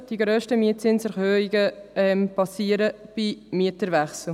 Die grössten Mietzinserhöhungen erfolgen bei Mieterwechsel.